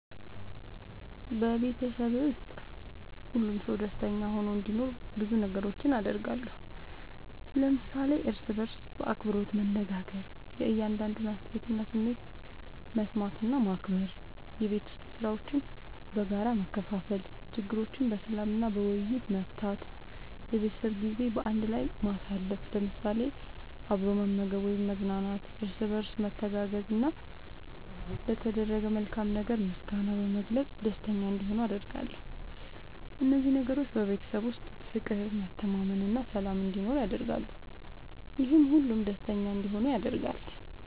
በቤተሰቤ ውስጥ ሁሉም ሰው ደስተኛ ሆኖ እንዲኖር ብዙ ነገሮችን አደርጋለሁ።። ለምሳሌ፦ እርስ በርስ በአክብሮት መነጋገር። የእያንዳንዱን አስተያየትና ስሜት መስማት እና ማክበር፣ የቤት ዉስጥ ሥራዎችን በጋራ መከፋፈል፣ ችግሮችን በሰላም እና በውይይት መፍታት፣ የቤተሰብ ጊዜ በአንድ ላይ ማሳለፍ ለምሳሌ፦ አብሮ መመገብ ወይም መዝናናት፣ እርስ በርስ መተጋገዝ፣ እና ለተደረገ መልካም ነገር ምስጋና በመግለጽ ደስተኛ እንዲሆኑ አደርጋለሁ። እነዚህ ነገሮች በቤተሰብ ውስጥ ፍቅር፣ መተማመን እና ሰላም እንዲኖር ያደርጋሉ፤ ይህም ሁሉም ደስተኛ እንዲሆኑ ያደርጋል።